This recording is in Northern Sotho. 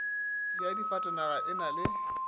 ya difatanaga e na le